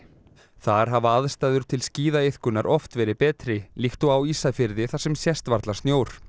þar hafa aðstæður til skíðaiðkunar oft verið betri líkt og á Ísafirði þar sem sést varla snjór